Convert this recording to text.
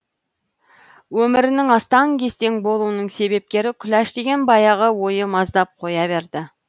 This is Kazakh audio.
өмірінің астаң кестең болуының себепкері күләш деген баяғы ойы маздап қоя берді